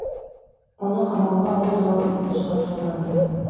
оны қамауға алу туралы өтінішхат жолданды